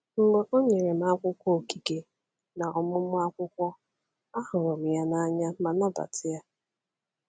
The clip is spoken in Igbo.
Mgbe ọ nyere m akwụkwọ Okike na ọmụmụ akwụkwọ, ahụrụ m ya n’anya ma nabata ya.